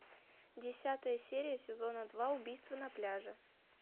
десятая серия сезона два убийство на пляже